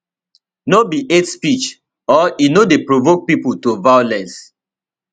no be hate speech or e no dey provoke pipo to violence